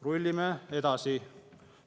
Rullime edasi!